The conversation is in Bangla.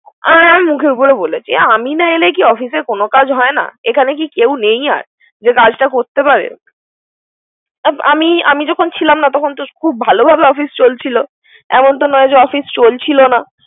আমি মুখের উপর বলেছি। আমি না এলে কি অফিসের কোন কাজ হয় না। এখানে কি কেউ নেই আর? যে কাজটা করতে পারে। আমি যখন ছিলাম না। তখন খুব ভালোভাবে অফিস চলছিল। এমতো নয় যে অফিস চলছিল না।